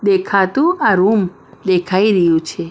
દેખાતું આ રૂમ દેખાઈ રહ્યું છે.